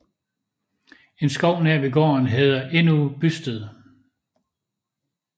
En skov nær ved gården hedder endnu Bysted